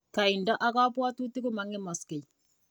Kaindo ak kabwatutik ko mang'emakse.